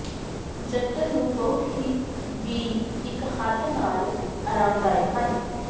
ਜੰਤਰ ਨੂੰ ਬਹੁਤ ਹੀ ਵੀ ਇਕ ਹੱਥ ਨਾਲ ਆਰਾਮਦਾਇਕ ਹਨ